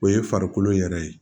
O ye farikolo yɛrɛ ye